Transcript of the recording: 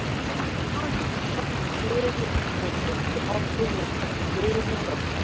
Eintóm hamingja, stolt, gleði voru fyrstu orð Gunnars eftir sigurinn í kvöld.